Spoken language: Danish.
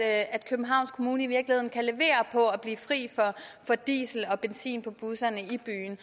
at københavns kommune i virkeligheden kan levere på at blive fri for diesel og benzin på busserne i byen